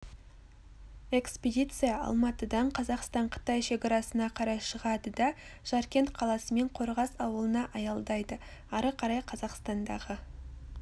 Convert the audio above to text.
экспедиция алматыдан қазақстан-қытай шекарасына қарай шығады да жаркент қаласы мен қорғас ауылына аялдайды ары қарай қазақстандағы